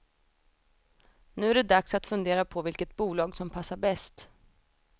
Nu är det dags att fundera på vilket bolag som passar bäst.